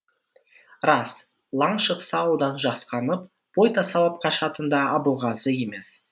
рас лаң шықса одан жасқанып бой тасалап қашатын да абылғазы емес